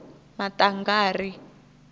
maṱangari